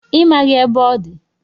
Ị maghị ebe ọ dị